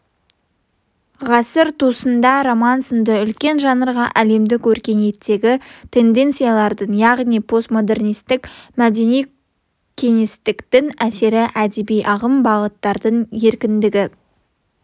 ғасыр тұсында роман сынды үлкен жанрға әлемдік өркениеттегі тенденциялардың яғни постмодернистік мәдени-кеңістіктің әсері әдеби-ағым бағыттардың еркіндігі